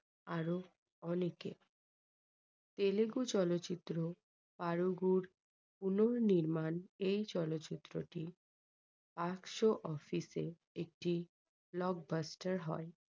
আরো অনেকে। তেলেগু চলচ্চিত্র পারুগু -র পুনর্নির্মাণ এই চলচ্চিত্র টি অফিসে একটি blockbuster হয়।